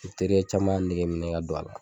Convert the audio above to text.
I terikɛ caman y'a negeminɛ ka don a la